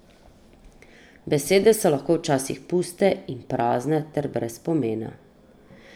Besede so lahko včasih puste in prazne ter brez pomena.